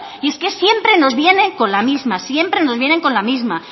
y es que siempre nos vienen con la misma siempre nos vienen con la misma